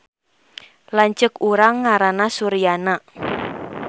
Lanceuk urang ngaranna Suryana